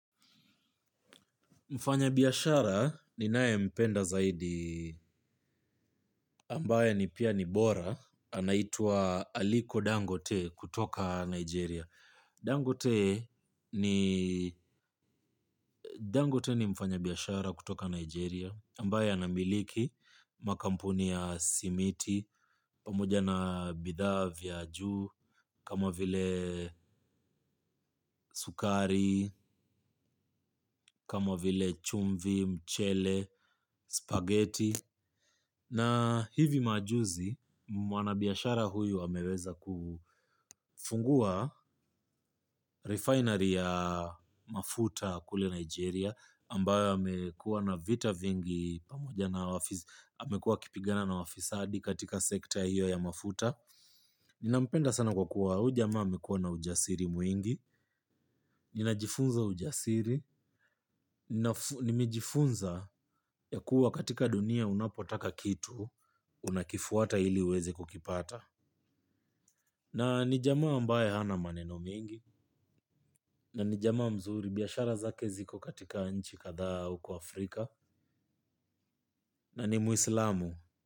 Mfanya biashara ninaye mpenda zaidi ambaye ni pia ni bora, anaitwa Aliko Dangote kutoka Nigeria. Dangote ni mfanya biashara kutoka Nigeria ambaye anamiliki makampuni ya simiti, pamoja na bidhaa vya juu, kama vile sukari, kama vile chumvi, mchele, spaghetti. Na hivi majuzi, mwanabiashara huyo ameweza kufungua refinery ya mafuta kule Nigeria ambayo yamekuwa na vita vingi pamoja na wafisi, amekuwa akipigana na wafisadi katika sekta hiyo ya mafuta. Ninampenda sana kwa kuwa huyu jamaa amekuwa na ujasiri mwingi, ninajifunza ujasiri. Nimejifunza ya kuwa katika dunia unapotaka kitu, unakifuata ili uweze kukipata. Na ni jamaa ambaye hana maneno mengi na ni jamaa mzuri biashara zake ziko katika nchi kadhaa huku Afrika na ni muislamu.